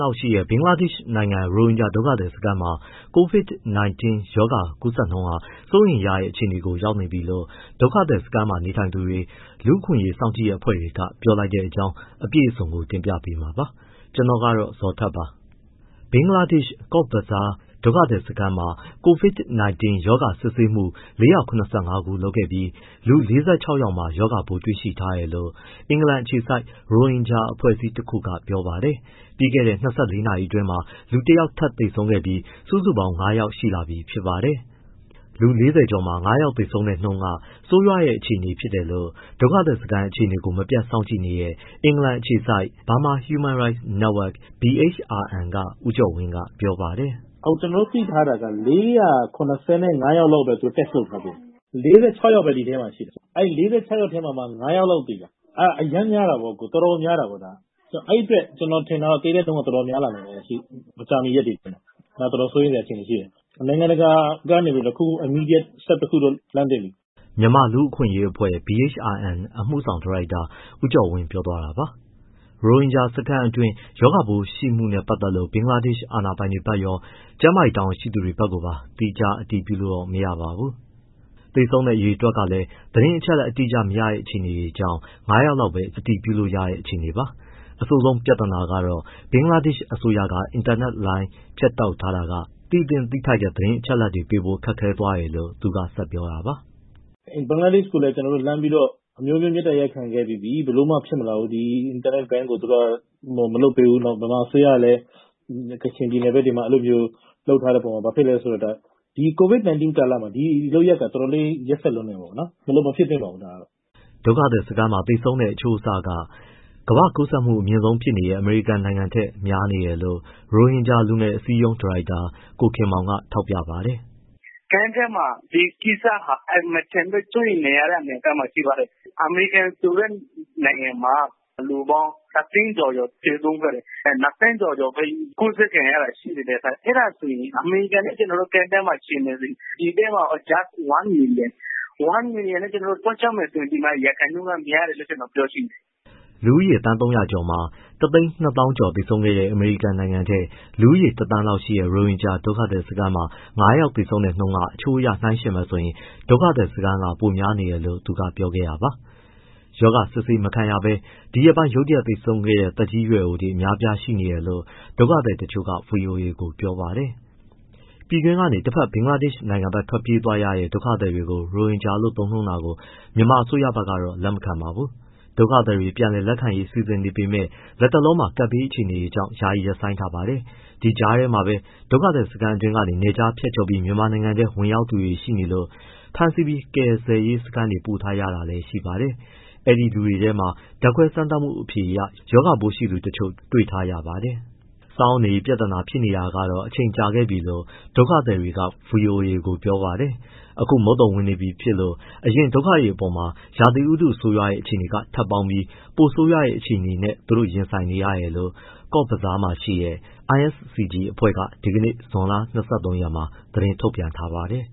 လောက်ရှိတဲ့ ဘင်္ဂလားဒေ့ရှ်နိုင်ငံ ရိုဟင်ဂျာ ဒုက္ခသည်စခန်းမှာ COVID-19 ကူးစက်နှုန်းဟာ စိုးရိမ်ရတဲ့အခြေအနေကို ရောက်နေပြီလို့ ဒုက္ခသည်စခန်းမှာနေထိုင်သူတွေ၊ လူ့အခွင့်အရေးစောင့်ကြည့်အဖွဲ့တွေက ပြောလိုက်တဲ့အကြောင်း အပြည့်အစုံကို ဗွီအိုအေမြန်မာပိုင်း သတင်းထောက် ကိုဇော်ထက်က တင်ပြပေးမှာပါ။ ဘင်္ဂလားဒေ့ရှ် Cox's Bazar ဒုက္ခသည်စခန်းမှာ COVID-19 ရောဂါစစ်ဆေးမှု ၄၇၅ ခုလုပ်ခဲ့ပြီး လူ ၄၆ ယောက်မှာ ရောဂါပိုး တွေ့ရှိထားတယ်လို့ အင်္ဂလန်အခြေစိုက် ရိုဟင်ဂျာအဖွဲ့အစည်း တခုက ပြောပါတယ်။ ပြီးခဲ့တဲ့ ၂၄ နာရီအတွင်းမှာ လူ ၁ ယောက် ထပ်သေဆုံးခဲ့ပြီး စုစုပေါင်း သေဆုံးသူ ၅ ယောက်ရှိလာပြီ ဖြစ်ပါတယ်။ လူဦးရေ ၄၀ ကျော်မှာ ၅ ယောက် သေဆုံးတဲ့နှုန်းက ဆိုးရွားတဲ့ အခြေအနေလို့ ဒုက္ခသည်စခန်း အခြေအနေကို မပြတ်စောင့်ကြည့်နေတဲ့ အင်္ဂလန်အခြေစိုက် BHRN က ဦးကျော်ဝင်းကပြောပါတယ်။ “ကျနော်တို့ သိထားတာက သူတို့ ၄၇၅ ယောက်ပဲ test လုပ်ထားသေးတာ။ ၄၆ ယောက်ပဲ ဒီထဲမှာ ရှိတာ။ အဲဒီ ၄၆ ယောက်ထဲမှာ ၅ ယောက်လောက်သေတာ။ အရမ်းများတာပေါ့၊ ဒါ တော်တော်ကိုများတာ။ အဲဒီအတွက် ကျနော်ထင်တာက သေတဲ့နှုန်းက တော်တော်များလာနိုင်ခြေရှိတယ်၊ မကြာမီရက်တွေ အတွင်းမှာ။ စိုရိမ်စရာအခြေအနေရှိတယ်။ နိုင်ငံတကာက နိုင်ငံတကာကနေ တခုခု immediate တခုတော့ လုပ်သင့်ပြီ။။” မြန်မာ့လူ့အခွင့်အရေးအဖွဲ့ BHRN အမှုဆောင်ဒါရိုက်တာ ဦးကျော်ဝင်း ပြောသွားတာပါ။ ရိုဟင်ဂျာစခန်းတွင်း ရောဂါပိုးတွေ့ရှိမှုနဲ့ ပတ်သက်လို့ ဘင်္ဂလာဒေ့ရ်ှ အာဏာပိုင်တွေဘက်ကရော ကျန်းမာရေးတာဝန်ရှိသူတွေဘက်ကိုပါ သီးခြားအတည်ပြုလို့တော့ မရပါဘူး။ သေဆုံးတဲ့အရေအတွက်ကလည်း သတင်းအချက်အလက် အတိအကျမရတဲ့ အခြေအနေကြောင့် ၅ ယောက်လောက်ပဲ အတည်ပြုလို့ရတဲ့ အခြေအနေပါ။ အဆိုးဆုံးပြဿနာကတော့ ဘင်္ဂလားဒေ့ရှ်အစိုးရက အင်တာနက်လိုင်း ဖြတ်တောက်ထားတာက သိသင့်၊ သိထိုက်တဲ့ သတင်းအချက်အလက်တွေပေးဖို့ ခက်ခဲသွားတယ်လို့ သူကဆက်ပြောတာပါ။ “ဘင်္ဂလားဒေ့ရှ်ကိုလည်း ကျနော်တို့လှမ်းပြီးတော့ အမျိုးမျိုး မေတ္တာရပ်ခံခဲ့ပြီးပြီ၊ ဘယ်လိုမှဖြစ်မလာဘူး။ ဒီအင်တာနက် ban ကို သူတို့က၊ မလုပ်ပေးဘူး။ ပြီးတော့ မြန်မာအစိုးရလည်း ကချင်ပြည်နယ်ဘက်တွေမှာ အဲလိုမျိုး လုပ်ထားတဲ့အပေါ်မှာ၊ ဘာဖြစ်လဲဆိုတော့ ဒီ COVID-19 ကာလမှာ ဒီလုပ်ရပ်က တော်တော်လေး ရက်စက်လွန်းတယ်ပေါ့နော်။ မဖြစ်သင့်ပါဘူး၊ ဒါကတော့။” ဒုက္ခသည်စခန်းမှာ သေဆုံးတဲ့အချိုးအဆက ကမ္ဘာ့ကူးစက်မှု အမြင့်ဆုံးဖြစ်နေတဲ့ အမေရိကန်နိုင်ငံထက် များနေတယ်လို့ ရိုဟင်ဂျာလူငယ်အစည်းအရုံး ဒါရိုက်တာ ကိုခင်မောင်က ထောက်ပြပါတယ်။ “Camps ထဲမှာ ဒီကိစ္စဟာ အင်မတန်မှ စိုးရိမ်ရတဲ့ အနေအထားမှာ ရှိပါတယ်။ အမေရိကန်ဆိုတဲ့ နိုင်ငံမှာ ၂၀၀,၀၀၀ ကျော်ကျော် သေဆုံးခဲ့တယ်။ ၂,၀၀၀,၀၀၀ ကျော်ကျော်ပဲ ကူးစက်ခံရတာရှိတယ်။ အဲဒါကို အမေရိကန်နဲ့ ကျနော်တို့ camp ထဲမှာ ယှဉ်မယ်ဆိုရင် ဒီထဲမှာ one million နဲ့ ပြောကြမယ်ဆိုရင် ဒီမှာ ရာခိုင်နှုန်းက များတယ်လို့ ကျနော်ပြောချင်တယ်။” လူဦးရေ သန်း ၃၀၀ ကျော်မှာ ၁၂၀,၀၀၀ ကျော်သေဆုံးခဲ့တဲ့ အမေရိကန်နိုင်ငံထက်၊ လူဦးရေ ၁,၀၀၀,၀၀၀ လောက်ရှိတဲ့ ရိုဟင်ဂျာဒုက္ခသည်စခန်းမှာ ငါးယောက် သေဆုံးတာက အချိုးအရနိုင်းယှဉ်မယ်ဆိုရင် ဒုက္ခသည်စခန်းက ပိုများနေတယ်လို့ သူကပြောခဲ့တာပါ။ ရောဂါစစ်ဆေးမခံရဘဲ ဒီရက်ပိုင်း ရုတ်တရက် သေဆုံးခဲ့တဲ့ သက်ကြီးရွယ်အိုတွေ အများအပြားရှိနေတယ်လို့ ဒုက္ခသည်တချို့က ဗွီအိုအေကို ပြောပါတယ်။ ပြည်တွင်းကနေ တဘက် ဘင်္ဂလားဒေ့ရှ်ဘက် ထွက်ပြေးသွားရတဲ့ ဒုက္ခသည်တွေကို ရိုဟင်ဂျာလို့ သုံးနှုန်းတာကို မြန်မာအစိုးရဘက်ကတော့ လက်မခံပါဘူး။ ဒုက္ခသည်တွေကို ပြန်လည်လက်ခံရေးစီစဉ်နေပေမဲ့ လတ်တလောမှာ ကပ်ဘေးအခြေအနေကြောင့် ယာယီရပ်ဆိုင်းထားပါတယ်။ ဒီကြားထဲမှာပဲ ဒုက္ခသည်စခန်းအတွင်းကနေ နယ်ခြားဖြတ်ကျော်ပြီး မြန်မာနိုင်ငံထဲ ဝင်ရောက်သူတွေရှိနေလို့ ဖမ်းဆီးပြီး ကယ်ဆယ်ရေးစခန်းထဲ ပို့ထားရတာရှိပါတယ်။အဲဒီလူတွေထဲမှာလည်း ဓါတ်ခွဲစမ်းသပ်မှုအဖြေအရ ရောဂါပိုးရှိသူတချို့ တွေ့ထားရပါတယ်။ စားဝတ်နေရေးပြဿနာ ဖြစ်နေတာကတော့ အချိန်ကြာခဲ့ပြီလို့ ဒုက္ခသည်တွေက ဗွီအိုအေကို ပြောပါတယ်။ အခု မုန်သုန်ဝင်နေပြီဖြစ်လို့ အရင်ဒုက္ခတွေအပေါ်မှာ ရာသီဥတုဆိုးရွားတဲ့အခြေအနေက ထပ်ပေါင်းပြီး ပိုဆိုးရွားတဲ့အခြေအနေနဲ့ သူတို့ရင်ဆိုင်နေရတယ်လို့ Cox’s Bazar မှာရှိတဲ့ ISCG အဖွဲ့က ဒီနေ့ ဇွန်လ ၂၃ မှာ သတင်းထုတ်ပြန်ထားပါတယ်